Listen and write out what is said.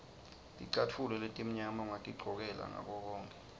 ticatfulo letimnyama ungatigcokela ngakokonkhe